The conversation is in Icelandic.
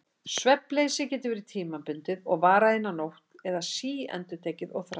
Svefnleysið getur verið tímabundið og varað eina nótt eða síendurtekið og þrálátt.